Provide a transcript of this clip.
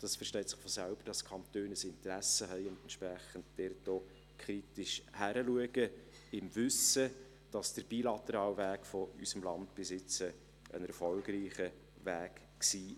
Es versteht sich von selbst, dass die Kantone ein Interesse haben und dies entsprechend kritisch betrachten, im Wissen darum, dass der bilaterale Weg unseres Landes bisher ein erfolgreicher Weg war.